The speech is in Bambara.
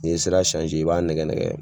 N'i ye sira i b'a nɛgɛnɛgɛ.